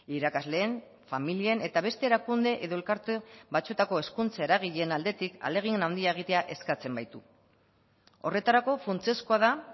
irakasleen familien eta beste erakunde edo elkarte batzuetako hezkuntza eragileen aldetik ahalegin handia egitea eskatzen baitu horretarako funtsezkoa da